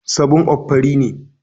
7up fari ne.